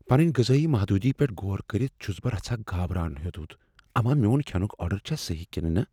پننہ غذٲیی محدوٗدی پیٹھ غور کرتھ، چھٗنس بہٕ رژھاہ گابرٗن ہیوٚتمت اما میون کھینک آرڈر چھا صحیٖح کنہٕ نہ۔